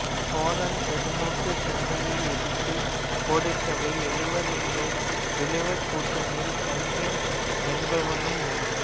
சோழன் பெரும்பூட் சென்னியை எதிர்த்துப் போரிட்டவர் எழுவர் இந்த எழுவர் கூட்டணியில் கங்கன் என்பவனும் ஒருவன்